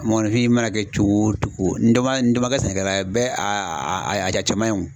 Mɔgɔnifin i mana kɛ cogo o cogo ni dɔ man ni dɔ man kɛ sɛnɛkɛla ye bɛɛ a cɛman ye o.